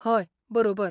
हय, बरोबर.